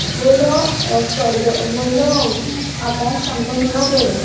वयलो अ स्वर्ग वयलो आकाश सामको नीळोभोर असा.